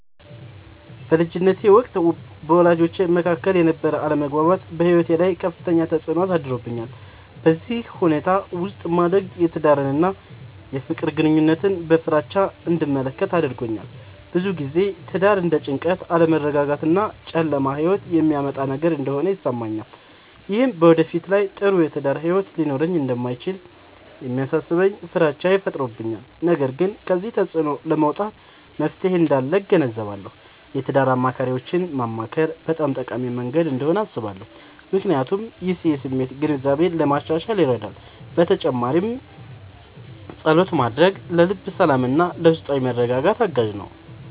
በልጅነቴ ወቅት በወላጆቼ መካከል የነበረ አለመግባባት በሕይወቴ ላይ ከፍተኛ ተፅዕኖ አሳድሮብኛል። በዚህ ሁኔታ ውስጥ ማደግ የትዳርን እና የፍቅር ግንኙነትን በፍራቻ እንድመለከት አድርጎኛል። ብዙ ጊዜ ትዳር እንደ ጭንቀት፣ አለመረጋጋት እና ጨለማ ሕይወት የሚያመጣ ነገር እንደሆነ ይሰማኛል። ይህም በወደፊት ላይ ጥሩ የትዳር ሕይወት ሊኖረኝ እንደማይችል የሚያሳስበኝ ፍራቻ ፈጥሮብኛል። ነገር ግን ከዚህ ተፅዕኖ ለመውጣት መፍትሔ እንዳለ እገነዘባለሁ። የትዳር አማካሪዎችን ማማከር በጣም ጠቃሚ መንገድ እንደሆነ አስባለሁ፣ ምክንያቱም ይህ የስሜት ግንዛቤን ለማሻሻል ይረዳል። በተጨማሪም ፀሎት ማድረግ ለልብ ሰላምና ለውስጣዊ መረጋጋት አጋዥ ነው።